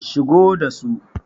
shigo da su!